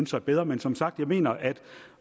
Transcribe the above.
sig bedre men som sagt jeg mener at